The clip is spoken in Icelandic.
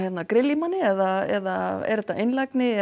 grilla í manni eða er þetta einlægni